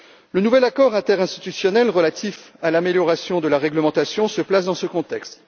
Le nouvel accord interinstitutionnel relatif à l'amélioration de la réglementation se place dans ce contexte.